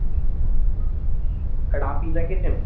রাফিজা কে চেনো?